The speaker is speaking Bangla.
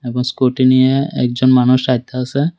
স্কুটি নিয়ে একজন মানুষ আইতাসে।